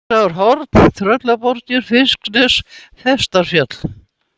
Þursaskálarhorn, Tröllaborgir, Fiskines, Festarfjall